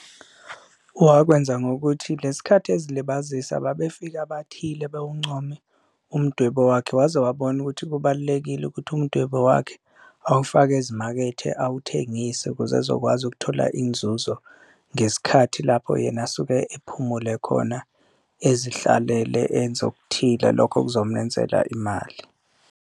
Wakwenza ngokuthi le sikhathi ezilibazisa babefika abathile bewuncome umdwebo wakhe waze wabona ukuthi kubalulekile ukuthi umdwebo wakhe awufake ezimakethe awuthengise, ukuze ezokwazi ukuthola inzuzo ngesikhathi lapho yena asuke ephumule khona ezihlalele. Enze okuthile lokho okuzomenzela imali.